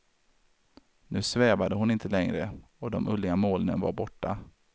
Nu svävade hon inte längre, och de ulliga molnen var borta.